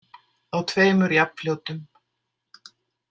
Á tveimur jafnfljótum.